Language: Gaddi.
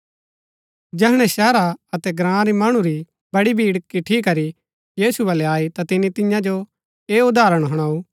जैहणै शहरा अतै ग्राँ रै मणु री बड़ी भीड़ किटठी करी यीशु बलै आई ता तिनी तियां जो ऐह उदाहरण हुणाऊ